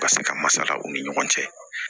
Ka se ka masala u ni ɲɔgɔn cɛ